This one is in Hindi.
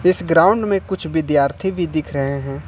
इस ग्राउंड में कुछ विद्यार्थी भी दिख रहे हैं।